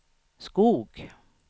Skog